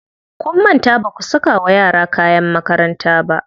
Kun manta baku saka wa yara kayan makaranta ba.